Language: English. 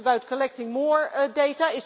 Is this about collecting more data?